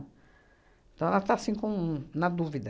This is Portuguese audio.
Então, ela está, assim, com... na dúvida.